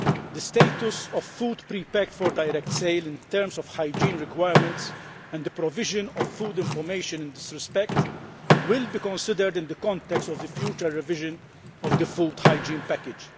The status of food pre packed for direct sale in terms of hygiene requirements and the provision of food information in this respect will be considered in the context of the future revision of the food hygiene package.